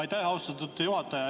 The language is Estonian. Aitäh, austatud juhataja!